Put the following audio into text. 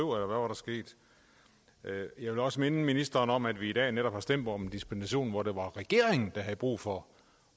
var der sket jeg vil også minde ministeren om at vi i dag netop har stemt om en dispensation hvor det var regeringen der havde brug for